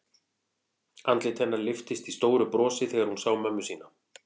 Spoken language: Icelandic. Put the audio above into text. Andlit hennar lyftist í stóru brosi þegar hún sá mömmu sína.